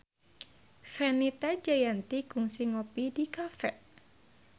Fenita Jayanti kungsi ngopi di cafe